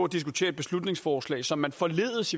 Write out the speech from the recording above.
diskutere et beslutningsforslag som man forledes